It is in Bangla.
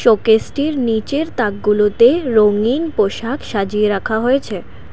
চকেসটির নীচের তাকগুলোতে রঙিন পোষাক সাজিয়ে রাখা হয়েছে।